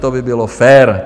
To by bylo fér.